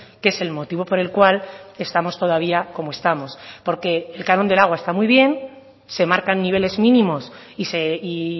que es el motivo por el cual estamos todavía como estamos porque el canon del agua está muy bien se marcan niveles mínimos y